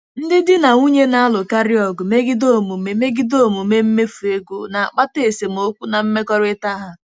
Ndị di na nwunye na-alụkarị ọgụ megide omume megide omume mmefu ego, na-akpata esemokwu na mmekọrịta ha.